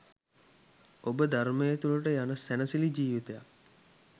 ඔබ ධර්මය තුළට යන සැනසිලි ජීවිතයක්